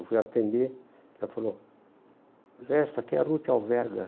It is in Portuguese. Eu fui atender, ela falou, Zé, essa aqui é a Ruth Alverga.